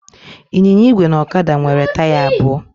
Ịnyịnya igwe na ọkada nwere taya abụọ.